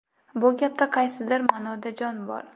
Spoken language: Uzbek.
Bu gapda qaysidir ma’noda jon bor.